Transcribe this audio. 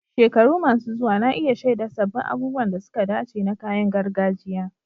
Shekaru masu zuwa na iya shaida sabbin abubuwan da suka dace na kayan gargajiya